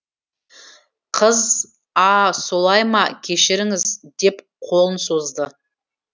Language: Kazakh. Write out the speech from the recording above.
қыз а солай ма кешіріңіз деп қолын созды